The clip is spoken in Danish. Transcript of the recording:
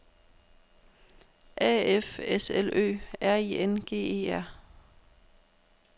A F S L Ø R I N G E R